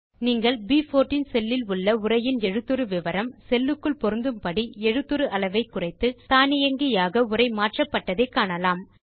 நீங்கள் ப்14 செல் இல் உள்ள உரையின் எழுத்துரு விவரம் செல் க்குள் பொருந்தும் படி எழுத்துரு அளவை குறைத்து தானியங்கியாக உரை மாற்றப்பட்டதை காணலாம்